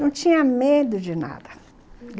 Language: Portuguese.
Não tinha medo de nada.